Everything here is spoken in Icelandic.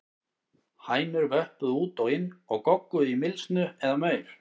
Hænur vöppuðu út og inn og gogguðu í mylsnu eða maur.